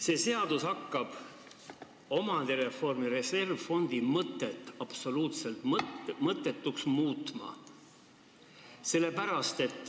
See seadus hakkab omandireformi reservfondi mõtet absoluutselt muutma.